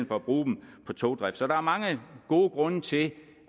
for at bruge dem på togdrift så der er mange gode grunde til